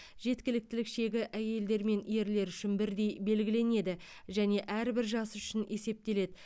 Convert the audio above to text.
жеткіліктілік шегі әйелдер мен ерлер үшін бірдей белгіленеді және әрбір жас үшін есептеледі